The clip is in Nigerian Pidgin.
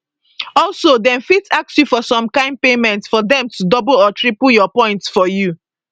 also dem fit ask you for some kain payment for dem to double or triple your points for you